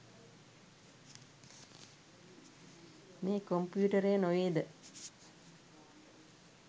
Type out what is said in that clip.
මේ කොම්පියුටරය නොවේද?